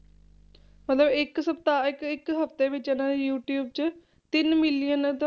ਮਤਲਬ ਇੱਕ ਸਪਤਾਹ ਇੱਕ ਇੱਕ ਹਫ਼ਤੇ ਵਿੱਚ ਇਹਨਾਂ ਦੇ ਯੂਟਿਊਬ 'ਚ ਤਿੰਨ million ਤੋਂ